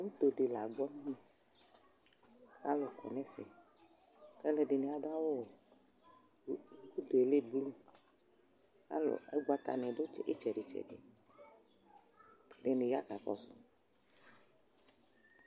Uto dɩ la agbɔ ɛmɛ kʋ alʋ kɔ nʋ ɛfɛ kʋ alʋɛdɩnɩ adʋ awʋwɛ Uto yɛ lɛ blu, alʋ ʋgbatanɩ dʋ ɩtsɛdɩ-tsɛdɩ Ɛdɩnɩ ya kakɔsʋ